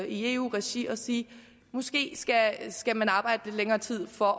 i eu regi og sige måske skal skal man arbejde lidt længere tid for